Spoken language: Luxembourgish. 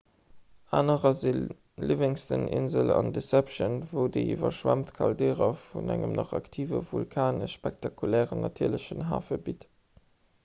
anerer si livingston-insel an deception wou déi iwwerschwemmt caldera vun engem nach aktive vulkan e spektakulären natierlechen hafe bitt